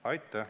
Aitäh!